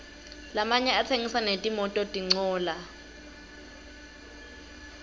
lamanye atsengisa netimototincola